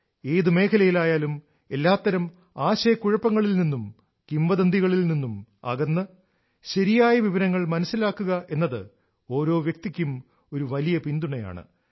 ഏത് മേഖലയിലായാലും എല്ലാത്തരം ആശയക്കുഴപ്പങ്ങളിൽ നിന്നും കിംവദന്തികളിൽ നിന്നും അകന്ന് ശരിയായ വിവരങ്ങൾ മനസ്സിലാകുക എന്നത് ഓരോ വ്യക്തിക്കും ഒരു വലിയ പിന്തുണയാണ്